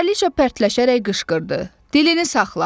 Kraliçə pərtləşərək qışqırdı: Dilini saxla.